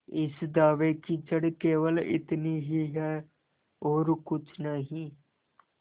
इस दावे की जड़ केवल इतनी ही है और कुछ नहीं